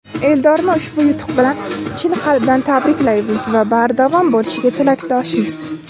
Eldorni ushbu yutuq bilan chin qalbdan tabriklaymiz va bardavom bo‘lishiga tilakdoshmiz!.